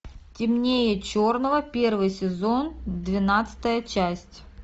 темнее черного первый сезон двенадцатая часть